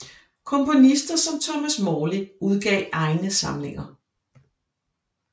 Komponister som Thomas Morley udgav egne samlinger